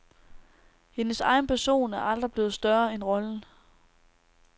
Hendes egen person er aldrig blevet større end rollen.